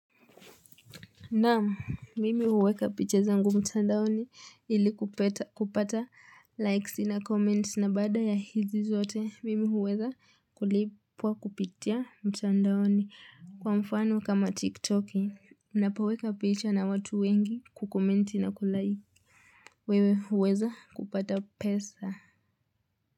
Naam mimi huweka picha zangu mtandaoni ili kupata likes na comments na bada ya hizi zote mimi huweza kulipwa kupitia mtandaoni kwa mfano kama tiktoki. Napoweka picha na watu wengi kukomenti na kulike. Wewe huweza kupata pesa.